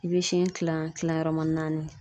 I bɛ siɲɛ kilan, kilan yɔrɔman naani .